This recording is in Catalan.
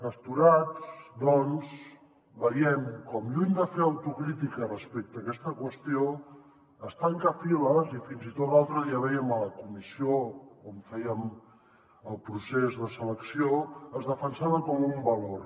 astorats doncs veiem com lluny de fer autocrítica respecte a aquesta qüestió es tanca files i fins i tot l’altre dia vèiem a la comissió on fèiem el procés de selecció com es defensava com un valor